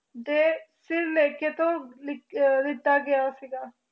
ਦੇ ਸਿਰਲੇਖਕ ਦਿੱਤਾ ਗਿਆ ਸੀਗਾ